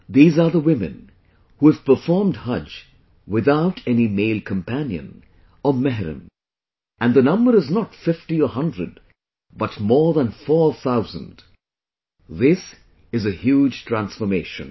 These are the women, who have performed Hajj without any male companion or mehram, and the number is not fifty or hundred, but more than four thousand this is a huge transformation